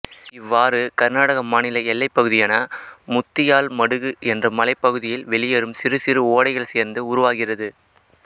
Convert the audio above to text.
இவாவாறு கர்நாடக மாநில எல்லைப் பகுதியான முத்தியால்மடுகு என்ற மலைப் பகுதியில் வெளியேறும் சிறுசிறு ஒடைகள் சேர்ந்து உருவாகிறது